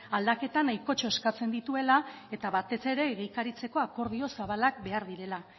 aldaketa nahikotxo eskatzen dituela eta batez ere egikaritzako akordio zabalak behar direla